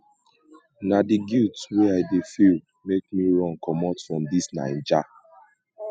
na di guilt wey i dey feel make me run comot for dis naija